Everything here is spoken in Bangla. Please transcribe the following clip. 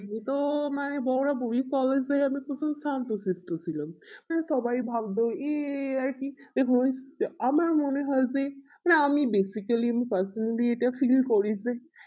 তোমায় বরাবরি collage এর আমি প্রচুর শান্ত সৃষ্ট ছিলাম উহ সবাই ভাবে ই তো আমার মনে হয় যে আমি basically আমি personally এটা feel করি যে